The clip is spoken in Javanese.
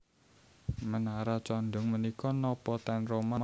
Menara condong menika nopo ten Roma leres?